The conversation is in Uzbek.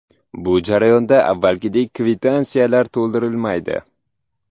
Bu jarayonda avvalgidek kvitansiyalar to‘ldirilmaydi.